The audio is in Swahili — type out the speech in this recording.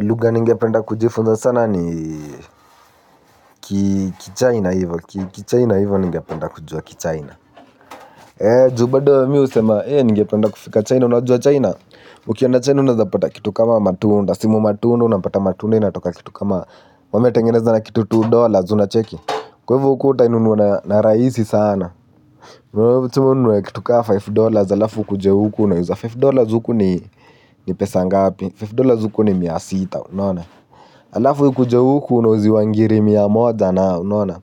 Lugha ninge penda kujifunza sana ni kichina hivyo, kichina hivyo ningependa kujua kichina. Ju bado mi husema, eh ninge penda kufika china, unajua china. Ukienda china unapata kitu kama matunda, simu matunda unapata matunda inatoka kitu kama. Wame tengeneza na kitu mbili dollars unacheki. Kwa hivo uta inunua narahisi sana. Mwema kitu kaa tano dollars alafu kuje hukuna, unauza tano dollars huku ni pesa ngapi. tano dollars huku ni mia sita unaona. Alafu hu kuja huku unauziwa ngiri mia moja na unaona.